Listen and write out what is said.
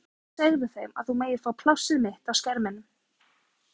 Skilaðu kveðju til sjónvarpsins og segðu þeim að þú megir fá plássið mitt á skerminum.